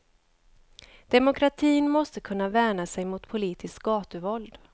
Demokratin måste kunna värna sig mot politiskt gatuvåld.